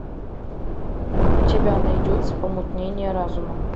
у тебя найдется помутнение разума